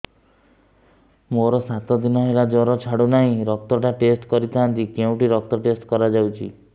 ମୋରୋ ସାତ ଦିନ ହେଲା ଜ୍ଵର ଛାଡୁନାହିଁ ରକ୍ତ ଟା ଟେଷ୍ଟ କରିଥାନ୍ତି କେଉଁଠି ରକ୍ତ ଟେଷ୍ଟ କରା ଯାଉଛି